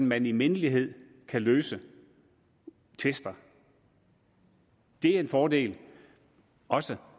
man i mindelighed kan løse tvister det er en fordel også